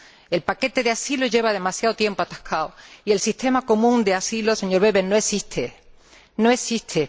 El paquete del asilo lleva demasiado tiempo atascado y el sistema común de asilo, señor Weber, no existe.